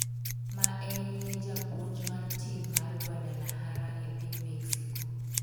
ma en ye japuonj mar tim mar Guadalajara e piny Mexico